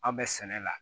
Aw bɛ sɛnɛ la